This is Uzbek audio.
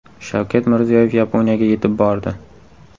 Shavkat Mirziyoyev Yaponiyaga yetib bordi .